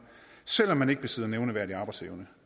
selv om man ikke besidder nævneværdig arbejdsevne